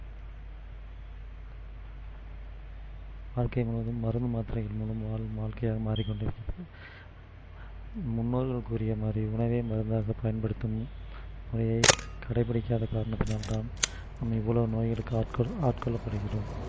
வாழ்க்கை முழுவதும் மருந்து மாத்திரைகள் மூலம் வாழும் வாழ்க்கையாக மாறிக்கொண்டிருக்கிறோம் முன்னோர்கள் கூறிய மாதிரி உணவே மருந்தாக பயன்படுத்தும் முறையை கடைபிடிக்காத காரணத்தினால் தான் நாம் இவ்வளவு நோய்களுக்கு ஆட்கொள்~ஆட்கொள்ள படுகிறோம்